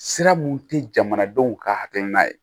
Sira mun tɛ jamanadenw ka hakilina ye